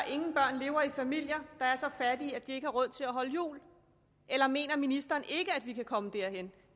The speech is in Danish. ingen børn lever i familier der er så fattige at de ikke har råd til at holde jul eller mener ministeren ikke at vi kan komme derhen